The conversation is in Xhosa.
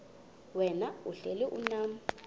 wena uhlel unam